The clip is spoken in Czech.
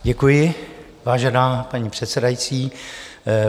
Děkuji, vážená paní předsedající.